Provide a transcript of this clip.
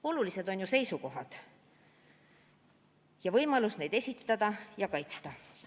Olulised on ju seisukohad ja võimalus neid esitada ja kaitsta.